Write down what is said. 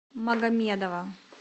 магомедова